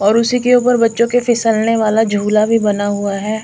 और उसी के ऊपर बच्चो के फिसल ने वाला झूला भी बना हुआ है।